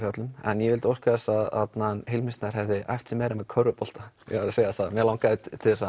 hjá öllum en ég vildi óska þess að hann Hilmir Snær hefði æft sig meira með körfubolta ég verð að segja það mig langaði til þess að